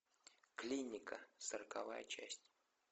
клиника сороковая часть